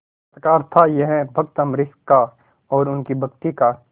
चमत्कार था यह भक्त अम्बरीश का और उनकी भक्ति का